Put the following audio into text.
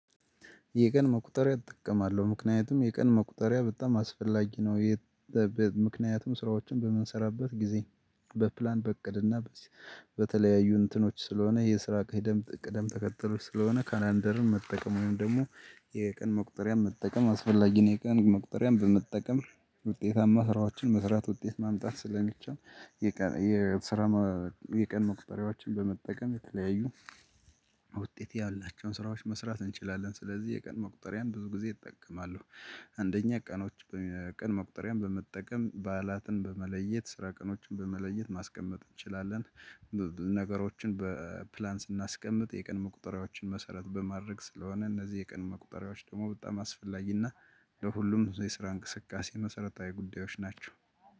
የቀን መቁጠሪያ እጠቀማለሁ ምክንያቱም የቀን መቁጠሪያ በጣም አስፈላጊ ነው። ምክንያቱም ስራዎችን በምንሰራበት ጊዜ በፕላን በእቅድና በተለያዩ እንትኖች ስለሆነ የስራ ቅይ ደም ቅደም ተከተል ስለሆነ ካላንደርን መጠቀም ወይም ደግሞ የቀን መቁጠሪያን መጠቀም አስፈላጊ ነው። የቀን መቁጠሪያን በመጠቀም ውጤታማ ስራዎችን መስራት ውጤት ማምጣት ስለሚቻል። የቀን የስራ የቀን መቁጠሪያዎችን በመጠቀም የተለያዩ ውጤት ያላቸውን ስራዎች መስራት እንችላለን። ስለዚህ የቀን መቁጠሪያን ብዙ ጊዜ እጠቀማለሁ። አንደኛ ቀኖች ቀን መቁጠሪያን በመጠቀም በዓላትን በመለየት ስራ ቀኖችን በመለየት ማስቀመጥ እንችላለን። ነገሮችን በፕላን ስናስቀምጥ የቀን መቁጠሪያዎችን መሰረት በማድረግ ስለሆነ እነዚህ የቀን መቁጠሪያዎች ደግሞ በጣም አስፈላጊና ለሁሉም የስራ እንቅስቃሴ መሰረታዊ ጉዳዮች ናቸው።